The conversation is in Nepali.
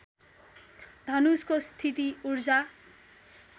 धनुषको स्थिति ऊर्जा